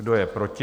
Kdo je proti?